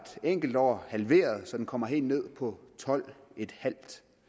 enkelt år halveret så den kommer helt ned på tolv en halv